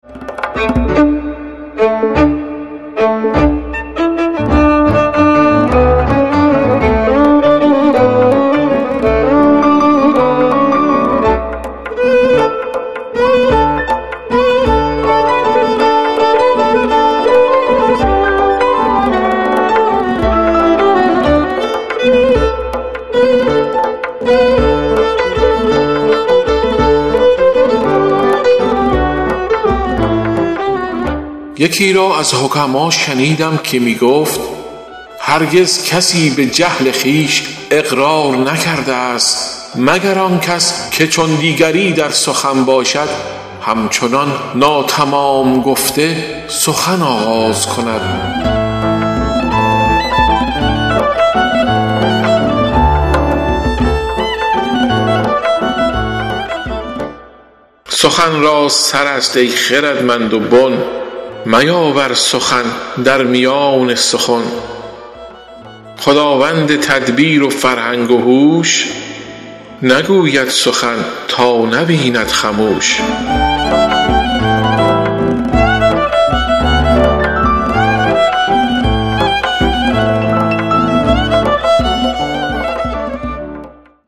یکی را از حکما شنیدم که می گفت هرگز کسی به جهل خویش اقرار نکرده است مگر آن کس که چون دیگری در سخن باشد هم چنان ناتمام گفته سخن آغاز کند سخن را سر است ای خردمند و بن میاور سخن در میان سخن خداوند تدبیر و فرهنگ و هوش نگوید سخن تا نبیند خموش